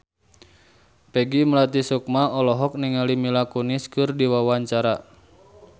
Peggy Melati Sukma olohok ningali Mila Kunis keur diwawancara